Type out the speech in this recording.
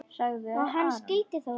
., sagði Arnór.